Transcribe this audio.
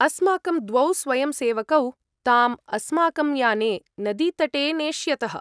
अस्माकं द्वौ स्वयंसेवकौ ताम् अस्माकं याने नदीतटे नेष्यतः।